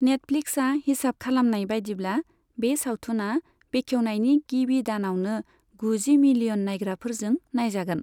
नेटफ्लिक्सआ हिसाब खलामनाय बायदिब्ला, बे सावथुना बेखेवनायनि गिबि दानआवनो गुजि मिलियन नायग्राफोरजों नायजागोन।